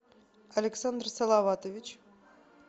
александр салаватович